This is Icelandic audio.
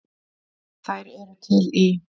Þær eru til í